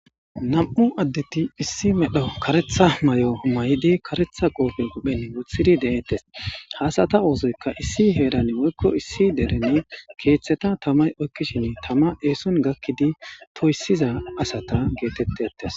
Nam'u addeti issi medho karetha may'o humayidi karetha qoofe guphen wuthidi de'ettes haasata oosoyka issi heeran woykko issi derene keeththeta tamay oykkishin tama eeson gakkidi toyssiza asata geetettetes